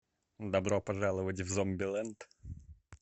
добро пожаловать в зомбилэнд